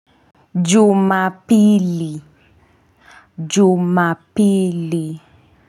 Jumapili. Jumapili.